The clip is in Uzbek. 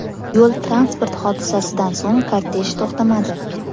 Yo‘l-transport hodisasidan so‘ng kortej to‘xtamadi.